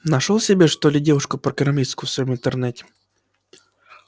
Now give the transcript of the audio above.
нашёл себе что ли девушку-программистку в своём интернете